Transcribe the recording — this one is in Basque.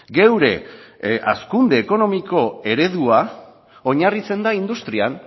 gure hazkunde ekonomiko eredua oinarritzen da industrian